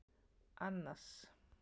Annas